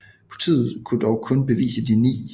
Politiet kunne dog kun bevise de ni